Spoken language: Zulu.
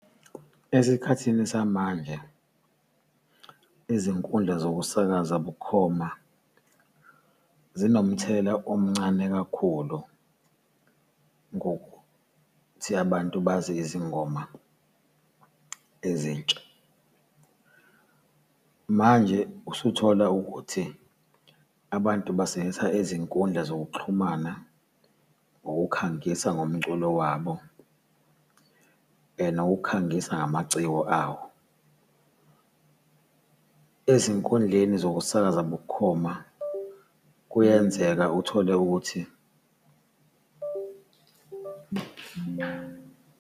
Esikhathini samanje, izinkundla zokusakaza bukhoma zinomthelela omncane kakhulu ngokuthi abantu bazi izingoma ezintsha. Manje usuthola ukuthi, abantu basebenzisa izinkundla zokuxhumana ngokukhangisa ngomculo wabo and ukukhangisa ngamaciko awo. Ezinkundleni zokusakaza bukhoma, kuyenzeka uthole ukuthi.